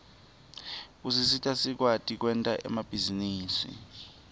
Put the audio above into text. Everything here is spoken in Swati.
usita sikwati kwenta emabhizinisi